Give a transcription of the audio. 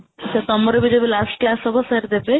ସେ ତୋମର ବି ଯେବେ last class ହବ sir ଦେବେ